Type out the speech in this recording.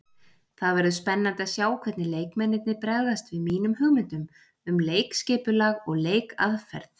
Það verður spennandi að sjá hvernig leikmennirnir bregðast við mínum hugmyndum um leikskipulag og leikaðferð.